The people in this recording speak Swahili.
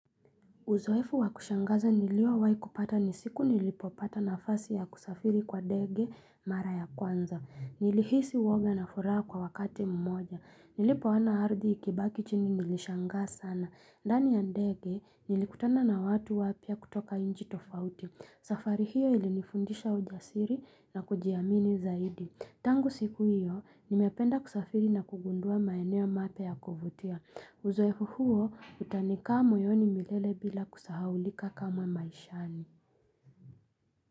Uzoefu wakushangaza nilio wahi kupata ni siku nilipopata nafasi ya kusafiri kwa ndege mara ya kwanza. Nilihisi woga na furaha kwa wakati huu mmoja. Nilipoona ardhi ikibaki chini nilishangaa sana. Ndani ya ndege nilikutana na watu wapya kutoka inchi tofauti. Safari hiyo ili nifundisha ujasiri na kujiamini zaidi. Tangu siku hiyo, nimependa kusafiri na kugundua maeneo mapya ya kuvutia. Uzoefu huo utanika moyoni milele bila kusahaulika kama maishani.